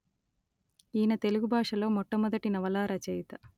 ఈయన తెలుగు భాష లో మొట్ట మొదటి నవలా రచయిత